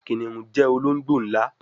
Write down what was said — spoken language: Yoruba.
Kìnìún jẹ ológbò nlá